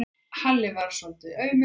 Halli varð svolítið aumur.